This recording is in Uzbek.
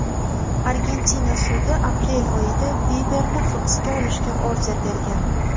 Argentina sudi aprel oyida Biberni hibsga olishga order bergan .